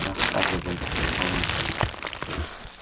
рассказывай сказал я